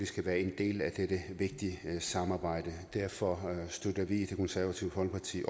skal være en del af dette vigtige samarbejde derfor støtter vi i det konservative folkeparti